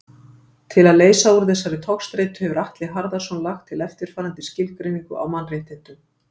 Til að leysa úr þessari togstreitu hefur Atli Harðarson lagt til eftirfarandi skilgreiningu á mannréttindum.